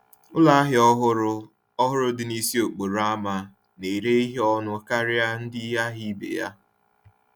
Ụlọ ahịa ọhụrụ ọhụrụ dị n’isi okporo ama na-ere ihe ọnụ ala karịa ndị ahịa ibe ya.